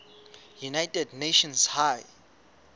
united nations high